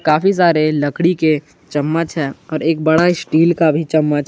काफी सारे लकड़ी के चम्मच है और एक बड़ा स्टील का भी चम्मच--